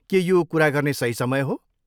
के यो कुरा गर्ने सही समय हो?